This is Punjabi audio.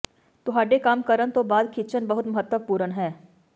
ਤੁਹਾਡੇ ਕੰਮ ਕਰਨ ਤੋਂ ਬਾਅਦ ਖਿੱਚਣ ਬਹੁਤ ਮਹੱਤਵਪੂਰਨ ਹੈ